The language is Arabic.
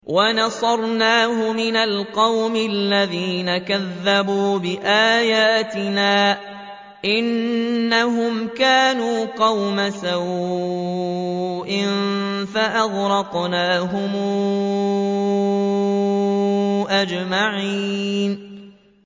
وَنَصَرْنَاهُ مِنَ الْقَوْمِ الَّذِينَ كَذَّبُوا بِآيَاتِنَا ۚ إِنَّهُمْ كَانُوا قَوْمَ سَوْءٍ فَأَغْرَقْنَاهُمْ أَجْمَعِينَ